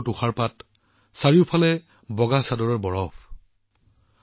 সুন্দৰ তুষাৰপাত চাৰিওফালে বৰফৰ দৰে বগা চাদৰ